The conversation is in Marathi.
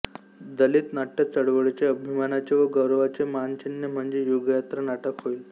दलित नाट्य चळवळीचे अभिमानाचे व गौरवाचे मानचिन्ह म्हणजे युगयात्रा नाटक होईल